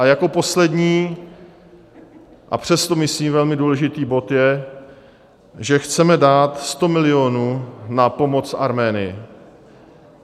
A jako poslední, a přesto myslím velmi důležitý bod je, že chceme dát 100 milionů na pomoc Arménii.